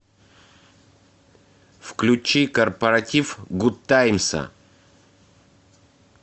включи корпоратив гудтаймса